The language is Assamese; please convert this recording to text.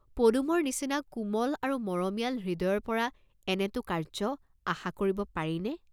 পদুমৰ নিচিনা কোমল আৰু মৰমীয়াল হৃদয়ৰ পৰা এনেটো কাৰ্য্য আশা কৰিব পাৰি নে?